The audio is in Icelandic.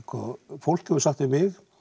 fólk hefur sagt við mig